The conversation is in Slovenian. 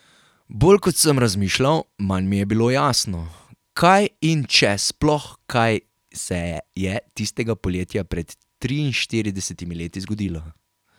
Bolj kot sem razmišljal, manj mi je bilo jasno, kaj in če sploh kaj se je tistega poletja pred triinštiridesetimi leti zgodilo.